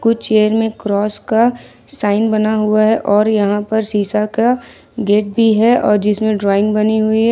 कुछ चेयर में क्रॉस का साइन बना हुआ है और यहाँ पर शीशा का गेट भी है और जिसमें ड्रॉइंग बनी हुई है।